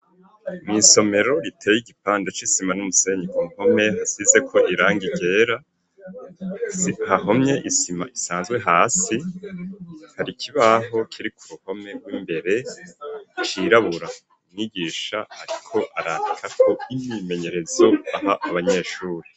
Mw'isomero riteye igipande c'isima n'umusenyi ku mpome hasize ko irangi ryera hahomye isima isanzwe hasi hari kibaho kiri ku buhome rw'imbere cirabura nigisha ariko arandika ko imimenyerezo aha abanyeshure.